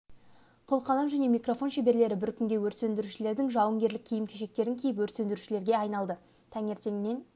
қыл қалам және микрофон шеберлері бір күнге өрт сөндірушілердің жауынгерлік киім-кешектерін киіп өрт сөндірушілерге айналды таңертеңнен